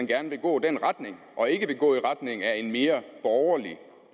gerne vil gå i den retning og ikke vil gå i retning af en mere borgerlig